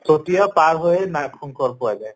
চতীয়া পাৰ হৈয়ে নাগ শঙ্কৰ পোৱা যায়